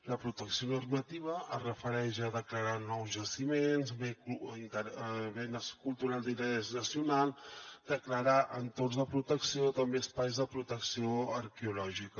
la protecció normativa es refereix a declarar nous jaciments béns culturals d’interès nacional declarar entorns de protecció també espais de protecció arqueològica